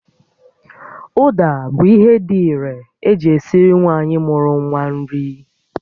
Ụda bụ ihe dị irè eji esiri nwaanyị mụru nwa nri